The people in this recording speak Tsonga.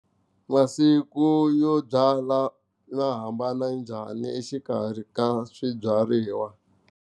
Masiku yo byala ya hambana njhani exikarhi ka swibyariwa?